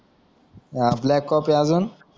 हा ब्लॅककॉफी आजून